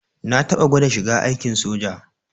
Na taɓa gwada shiga aikin soja.